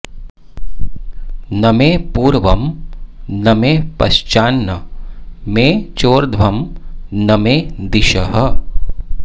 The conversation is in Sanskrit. न मे पूर्वं न मे पश्चान्न मे चोर्ध्वं न मे दिशः